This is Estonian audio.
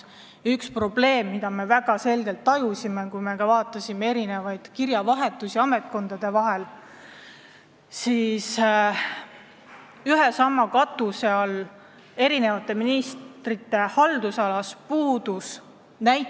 Üks probleem, mida me väga selgelt oleme tajunud, vaadates mitmel teemal kirjavahetust ametkondade vahel, on see, et ühe ja sama katuse all töötavate ministrite haldusalades ei vahetata kogemusi.